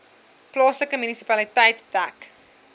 plaaslike munisipaliteit dek